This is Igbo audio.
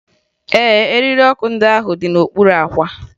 Ee, eriri ọkụ ndị ahụ dị n'okpuru àkwà